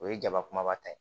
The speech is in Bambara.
O ye jaba kumaba ta ye